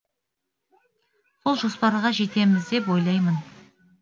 сол жоспарға жетеміз деп ойлаймын